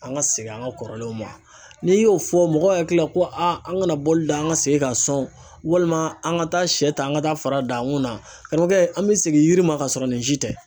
An ka segin an ka kɔrɔlenw ma n'i y'o fɔ mɔgɔw hakili la ko aa an kana bɔli da an ka segin ka sɔn walima an ka taa sɛ ta an ka taa fara dan kun na kɔrɔkɛ an bɛ segin yiri ma ka sɔrɔ nin si tɛ